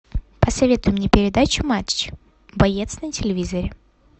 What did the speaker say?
посоветуй мне передачу матч боец на телевизоре